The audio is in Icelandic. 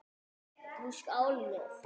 Nú skálum við!